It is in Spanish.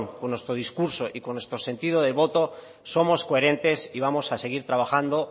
con nuestro discurso y con nuestro sentido de voto somos coherentes y vamos a seguir trabajando